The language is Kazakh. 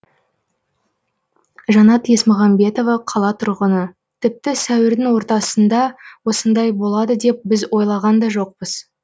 жанат есмағамбетова қала тұрғыны тіпті сәуірдің ортасында осындай болады деп біз ойлаған да жоқпыз